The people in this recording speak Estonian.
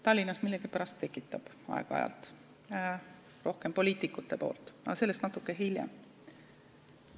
Tallinnas millegipärast aeg-ajalt tekitab, rohkem küll poliitikute poolt, aga sellest natuke hiljem.